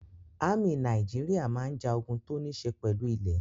Ámì Nàìjíríà máa ń ja ogun tó níṣe pẹ̀lú ilẹ́.